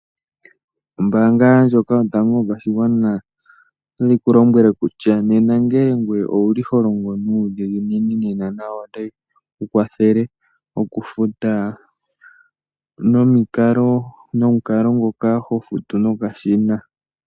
Ombaanga ndjoka yotango yopashigwana otayi ku lombwele kutya, nena ngele ngoye owuli holongo nuudhiginini, nayo otayi ku kwathele okufuta nomukalo ngoka ho futu nokashina.